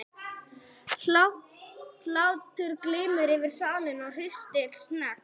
Hlátur glymur yfir salinn, hryssingslegt hnegg.